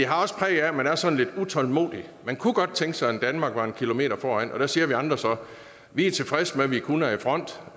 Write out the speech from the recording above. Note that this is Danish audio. også præg af at man er sådan lidt utålmodig man kunne godt tænke sig at danmark var en kilometer foran og der siger vi andre så at vi er tilfredse med at vi kun er i front